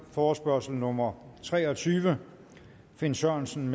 forespørgsel nummer tre og tyve finn sørensen